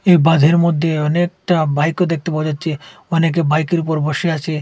এই বাঁধের মধ্যে অনেকটা বাইকও দেখতে পাওয়া যাচ্ছে অনেকে বাইকের ওপর বসে আছে।